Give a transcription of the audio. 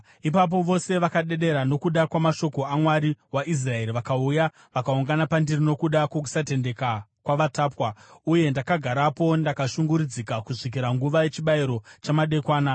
Ipapo vose vakadedera nokuda kwamashoko aMwari waIsraeri vakauya vakaungana pandiri nokuda kwokusatendeka kwavatapwa. Uye ndakagarapo ndakashungurudzika kusvikira nguva yechibayiro chamadekwana.